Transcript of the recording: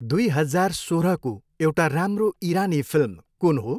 दुई हजार सोह्रको एउटा राम्रो इरानी फिल्म कुन हो?